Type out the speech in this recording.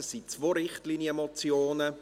Es sind zwei Richtlinienmotionen.